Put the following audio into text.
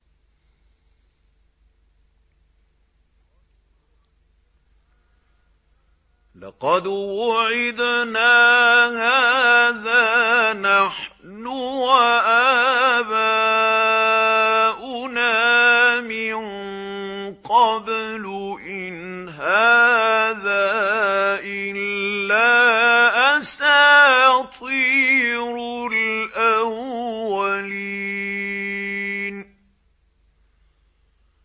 لَقَدْ وُعِدْنَا هَٰذَا نَحْنُ وَآبَاؤُنَا مِن قَبْلُ إِنْ هَٰذَا إِلَّا أَسَاطِيرُ الْأَوَّلِينَ